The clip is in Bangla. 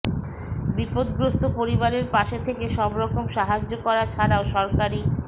বিপদগ্রস্ত পরিবারের পাশে থেকে সবরকম সাহায্য করা ছাড়াও সরকারি